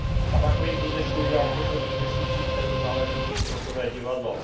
Tabákový průmysl udělal v posledních měsících v této záležitosti hotové divadlo.